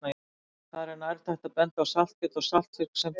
Þar er nærtækt að benda á saltkjöt og saltfisk sem dæmi.